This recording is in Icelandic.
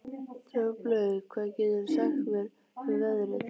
Droplaug, hvað geturðu sagt mér um veðrið?